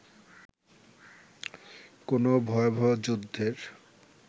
কোনো ভয়াবহ যুদ্ধের